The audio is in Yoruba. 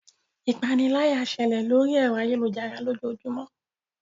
Ipániláyà ń ṣẹlẹ̀ lóri ẹ̀rọ ayélujára lójoojúmó.